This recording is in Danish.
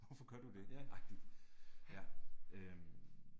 Hvorfor gør du det agtigt. Ja, øh